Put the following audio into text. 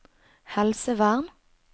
helsevern